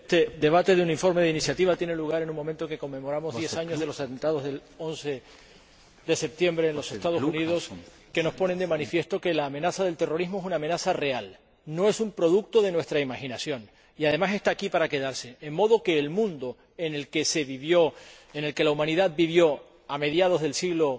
Señor Presidente, el debate de este informe de iniciativa tiene lugar en el momento en que conmemoramos diez años de los atentados del 11 de septiembre en los Estados Unidos, que nos ponen de manifiesto que la amenaza del terrorismo es una amenaza real, no un producto de nuestra imaginación, y además está aquí para quedarse, de modo que el mundo en el que se vivió, en el que la Humanidad vivió a mediados del siglo